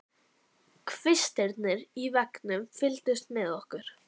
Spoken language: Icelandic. Kvistirnir í veggnum fylgdust með okkur.